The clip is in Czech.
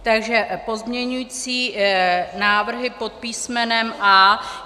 Takže pozměňující návrhy pod písmenem A.